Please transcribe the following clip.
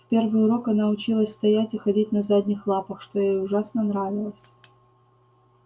в первый урок она училась стоять и ходить на задних лапах что ей ужасно нравилось